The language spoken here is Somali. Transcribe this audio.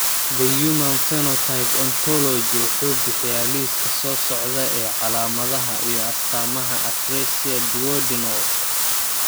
The Human Phenotype Ontology wuxuu bixiyaa liiska soo socda ee calaamadaha iyo astaamaha atresia Duodenal.